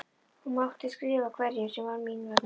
Hún mátti skrifa hverjum sem var mín vegna.